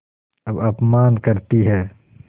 अब अपमान करतीं हैं